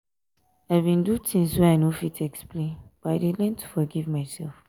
i bin do tins wey i no fit explain but i dey learn to forgive mysef.